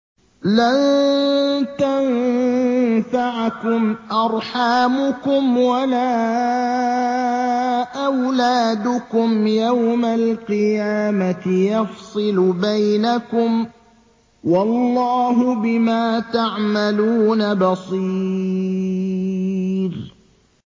لَن تَنفَعَكُمْ أَرْحَامُكُمْ وَلَا أَوْلَادُكُمْ ۚ يَوْمَ الْقِيَامَةِ يَفْصِلُ بَيْنَكُمْ ۚ وَاللَّهُ بِمَا تَعْمَلُونَ بَصِيرٌ